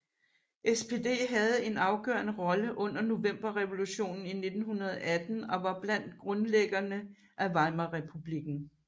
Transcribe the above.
SPD havde en afgørende rolle under Novemberrevolutionen i 1918 og var blandt grundlæggerne af Weimarrepublikken